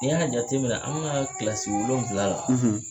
N'i y'a jateminɛ na, an bɛna kilasi wolonwula la.